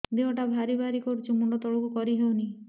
ଦେହଟା ଭାରି ଭାରି କରୁଛି ମୁଣ୍ଡ ତଳକୁ କରି ହେଉନି